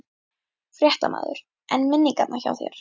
Fréttamaður: En minningarnar hjá þér?